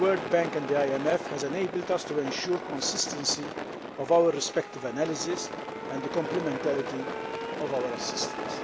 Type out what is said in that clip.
with the World Bank and the IMF has enabled us to ensure the consistency of our respective analyses and the complementarity of our assistance.